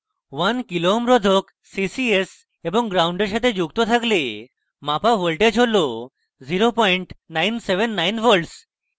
1 kω kilo ohms রোধক ccs এবং gnd when সাথে যুক্ত থাকলে মাপা voltage হল 0979v